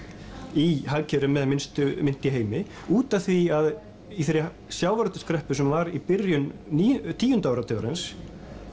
í hagkerfi með minnstu mynt í heimi út af því að í þeirri sjávarútvegskreppu sem var í byrjun tíunda áratugarins